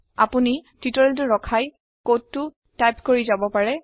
আপোনি টিওটৰিয়েলটো ৰখাই কডটো টাইপ কৰি যাব পাৰে